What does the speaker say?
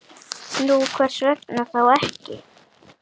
Nú, hvers vegna þá ekki?